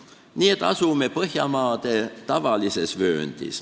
Nii et me asume Põhjamaade tavalises vööndis.